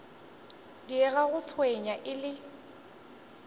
diega ga tšhwene e le